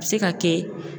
A bɛ se ka kɛ